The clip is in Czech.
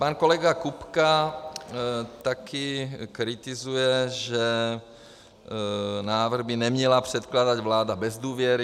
Pan kolega Kupka taky kritizuje, že návrh by neměla předkládat vláda bez důvěry.